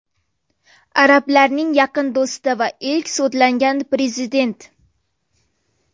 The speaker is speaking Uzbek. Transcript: Arablarning yaqin do‘sti va ilk sudlangan prezident.